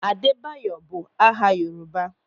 Adebayo bụ aha Yoruba.